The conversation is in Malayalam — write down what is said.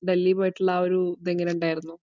ഡൽഹിയിൽ പോയിട്ട് ഉള്ള ആ ഒരു ഇത് എങ്ങനെ ഉണ്ടായിരുന്നു?